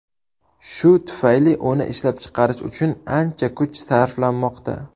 Shu tufayli uni ishlab chiqish uchun ancha kuch sarflanmoqda.